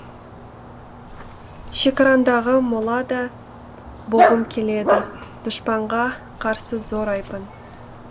шекараңдағы мола да болғым келеді дұшпанға қарсы зор айбын